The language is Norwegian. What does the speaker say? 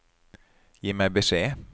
Gi meg beskjed